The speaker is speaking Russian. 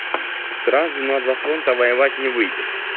сразу на два фронта воевать не выйдет